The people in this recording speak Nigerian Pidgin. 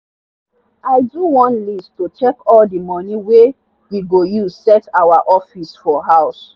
i do one list to check all the money wey we go use set our office for house.